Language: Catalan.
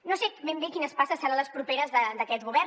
no sé ben bé quines passes seran les properes d’aquest govern